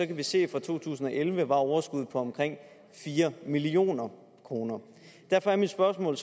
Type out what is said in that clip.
kan vi se at fra to tusind og elleve var overskuddet på omkring fire million kroner derfor er mit spørgsmål